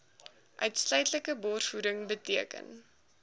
uitsluitlike borsvoeding beteken